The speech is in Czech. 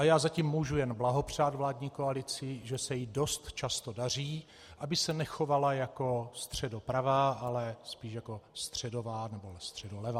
A já zatím můžu jen blahopřát vládní koalici, že se jí dost často daří, aby se nechovala jako středopravá, ale spíše jako středová nebo středolevá.